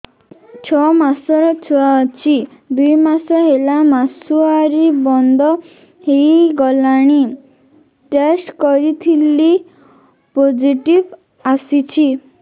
ଛଅ ମାସର ଛୁଆ ଅଛି ଦୁଇ ମାସ ହେଲା ମାସୁଆରି ବନ୍ଦ ହେଇଗଲାଣି ଟେଷ୍ଟ କରିଥିଲି ପୋଜିଟିଭ ଆସିଛି